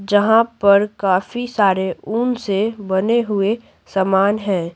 जहां पर काफी सारे ऊन से बने हुए सामान हैं।